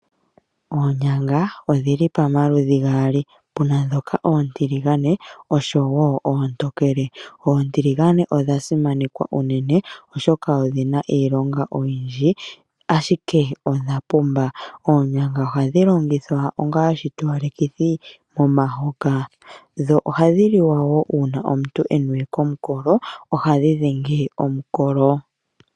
Oonyanga odhili pamaludhi gaali. Opuna ndhoka oontiligane noontokele. Oontiligane odhasimanekwa unene oshoka odhina iilonga oyindji ashike odhapumba. Oonyanga ohadhi longithwa onga iitowalekithi momahoka. Ohadhi liwa woo uuna omuntu ena omukolo, ohadhi dhenge omukolo.